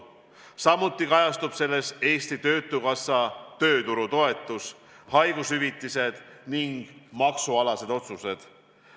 Samuti kajastuvad selles Eesti Töötukassa tööturutoetus, haigushüvitised ning maksualased otsused.